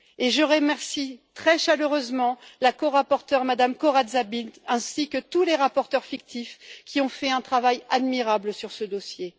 Je remercie très chaleureusement la corapporteure, Mme Corazza Bildt, ainsi que tous les rapporteurs fictifs, qui ont fait un travail admirable sur ce dossier.